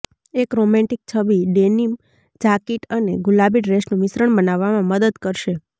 એક રોમેન્ટિક છબી denim jacket અને ગુલાબી ડ્રેસનું મિશ્રણ બનાવવામાં મદદ કરશે